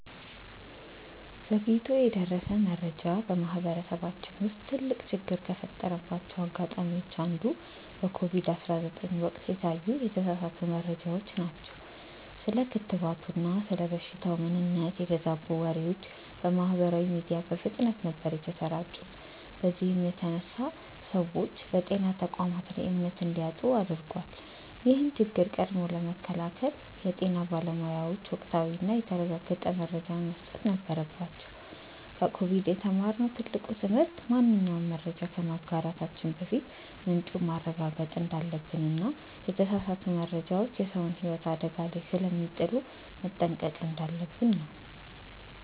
ዘግይቶ የደረሰ መረጃ በማህበረሰባችን ውስጥ ትልቅ ችግር ከፈጠረባቸው አጋጣሚዎች አንዱ በኮቪድ 19 ወቅት የታዩ የተሳሳቱ መረጃዎች ናቸው። ስለ ክትባቱና ስለ በሽታው ምንነት የተዛቡ ወሬዎች በማህበራዊ ሚዲያ በፍጥነት ነበር የተሰራጩት በዚህም የተነሳ ሰዎች በጤና ተቋማት ላይ እምነት እንዲያጡ አድርጓል። ይህን ችግር ቀድሞ ለመከላከል የጤና ባለሙያዎች ወቅታዊና የተረጋገጠ መረጃን መስጠት ነበረባቸው። ከኮቪድ የተማርነው ትልቁ ትምህርት ማንኛውንም መረጃ ከማጋራታችን በፊት ምንጩን ማረጋገጥ እንዳለብንና የተሳሳቱ መረጃዎች የሰውን ህይወት አደጋ ላይ ስለሚጥሉ መጠንቀቅ እንዳለብን ነው።